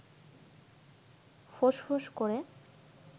ফোঁস-ফোঁস করে